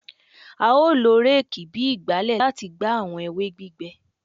A o lo réèkì bi ìgbálẹ lati gba awọn ewe gbigbẹ